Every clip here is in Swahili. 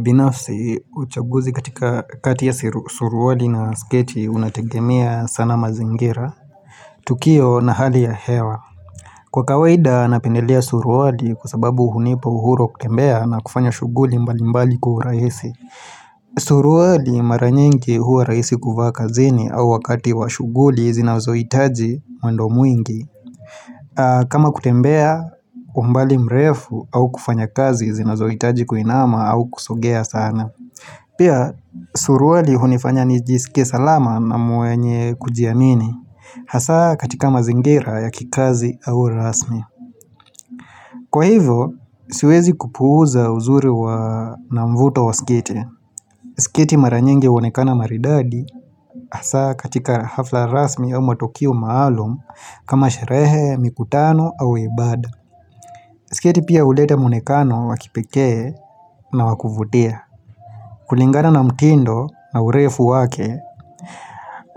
Binafsi uchaguzi katika kati ya suruali na sketi unategemea sana mazingira Tukio na hali ya hewa Kwa kawaida napendelea suruali kwa sababu uhunipa uhuro kutembea na kufanya shuguli mbali mbali ku raisi Suruali mara nyingi huwa rahisi kuvaa kazini au wakati wa shughuli zinazoitaji mwendo mwingi kama kutembea umbali mrefu au kufanya kazi zinazoitaji kuinama au kusugea sana Pia suruali hunifanya nijisike salama na mwenye kujiamini Hasa katika mazingira ya kikazi au rasmi Kwa hivyo, siwezi kupuuza uzuri wa namvuto wa skete skete mara nyingi unekana maridadi hasa katika hafla rasmi ya matokio maalum kama sherehe, mikutano au ibad Skete pia ulete mwonekano wakipeke na wakuvutia kulingana na mtindo na urefu wake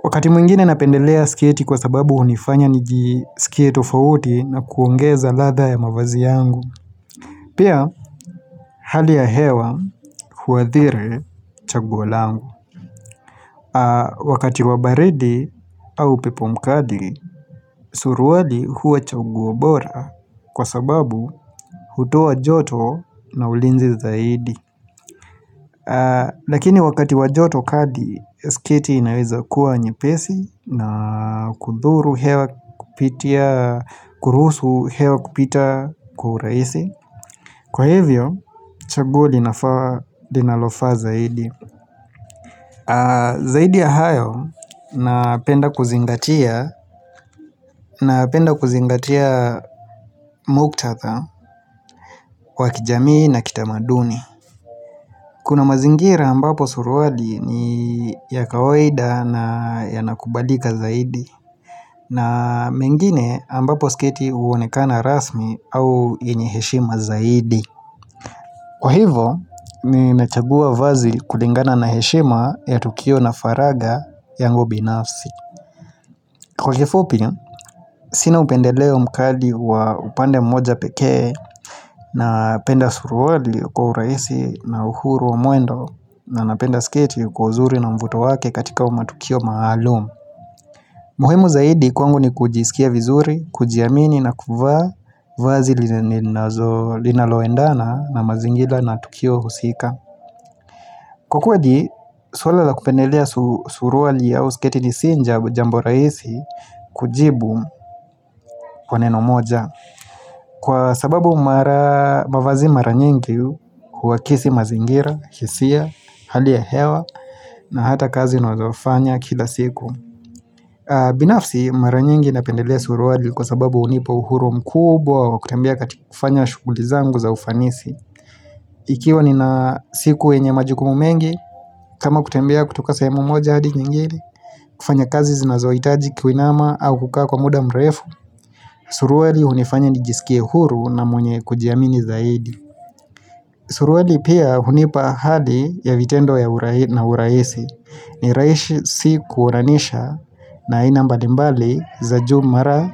Wakati mwingine napendelea siketi kwa sababu unifanya nijisiketo tofauti na kuongeza ladha ya mavazi yangu. Pia, hali ya hewa huwathire chaguo langu. Wakati wabaridi au pepomkadi, suruadi huwa chaguo bora kwa sababu hujotoa na ulinzi zaidi. Lakini wakati wajoto kadi, skiti inaweza kuwa njepesi na kudhuru hewa kupitia, kurusu hewa kupita kuhuraisi Kwa hivyo, chaguo ninalofaa zaidi Zaidi ya hayo, napenda kuzingatia, napenda kuzingatia muktatha, wakijamii na kitamaduni Kuna mazingira ambapo suruali ni ya kawaida na ya nakubadika zaidi na mengine ambapo sketi uonekana rasmi au yenye heshima zaidi. Kwa hivo minachagua vazi kulingana na heshima ya tukio na faraga yangu binafsi. Kwa kifupi, sina upendeleo mkali wa upande mmoja pekee na penda suruali kwa uraisi na uhuru wa mwendo na napenda sketi kwa uzuri na mvuto wake katika umatukio maalum. Muhemu zaidi kwangu ni kujisikia vizuri, kujiamini na kuvaa vazi linaloendana na mazingira na tukio husika. Kwa kweli suwala la kupendelea suruali ya usiketi ni sinja jambo raisi kujibu kwa neno moja. Kwa sababu mavazi mara nyingi huwakisi mazingira, kisia, halia hewa na hata kazi na wazofanya kila siku. Binafsi, mara nyingi napendelea suruali kwa sababu unipo uhurum kubwa wa kutambia katika kufanya shughuli zangu za ufanisi. Ikiwa nina siku wenye majukumu mengi, kama kutembea kutoka sehemu moja hadi kengili, kufanya kazi zinazoitaji kiwinama au kukaa kwa muda mrefu, suruweli hunifanya nijisikie huru na mwenye kujiamini zaidi. Suruali pia hunipa hadi ya vitendo ya urahisi si kuoranisha na inambadimbali za jumara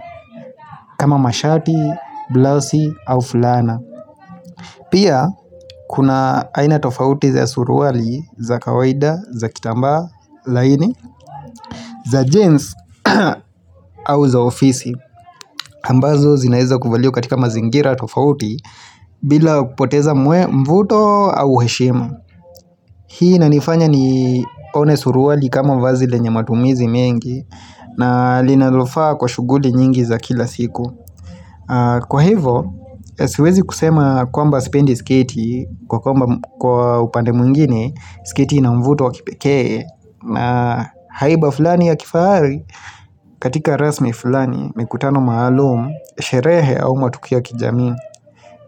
kama mashati, blasi au fulana. Pia kuna aina tofauti za suruali za kawaida, za kitamba, laini, za jeans au za ofisi. Ambazo zinaeza kufaliwa katika mazingira tofauti bila kupoteza mvuto au heshema. Hii nanifanya ni one suruali kama vazile nye matumizi mengi na linalofaa kwa shuguli nyingi za kila siku. Kwa hivo, siwezi kusema kwamba sipendi sketi kwa kwamba upande mwingine, sketi inamvuto wakipekee na haiba fulani ya kifari. Katika rasmi fulani, mikutano maalum, sherehe au matukia kijami,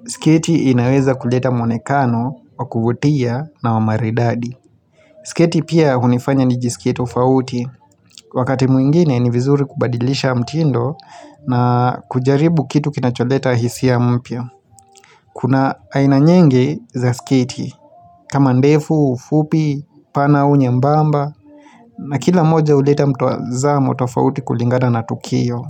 sketi inaweza kuleta mwonekano, wakuvutia na wamaredadi. Siketi pia unifanya nijisikie tofauti, wakati mwingine ni vizuri kubadilisha mtindo na kujaribu kitu kinacholeta hisi ya mpya. Kuna aina nyingi za sketi, kama ndefu, fupi, pana au nyembemba, na kila moja uleta mtuazamo tofauti kulingada na tukio.